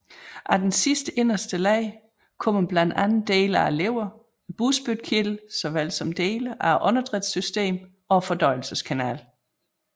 Af den sidste inderste lag kommer blandt andet dele af leveren og bugspytkirtlen såvel som dele af åndedrætssystemet og fordøjelseskanalen